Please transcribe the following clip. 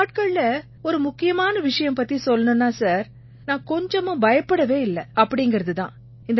இந்த நாட்கள்ல ஒரு முக்கியமான விஷயம் பத்தி சொல்லணும்னா சார் நான் கொஞ்சமும் பயப்படவே இல்லை அப்படீங்கறது தான்